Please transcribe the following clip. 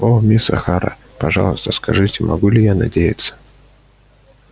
о мисс охара пожалуйста скажите могу ли я надеяться